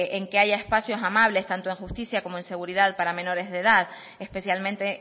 en que haya espacios amables tanto en justicia como en seguridad para menores de edad especialmente